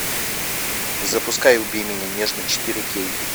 запускай убей меня нежно четыре кей